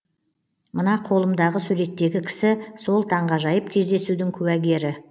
мына қолымдағы суреттегі кісі сол таңғажайып кездесудің куәгері